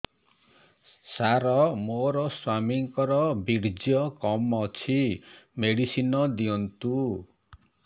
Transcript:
ସାର ମୋର ସ୍ୱାମୀଙ୍କର ବୀର୍ଯ୍ୟ କମ ଅଛି ମେଡିସିନ ଦିଅନ୍ତୁ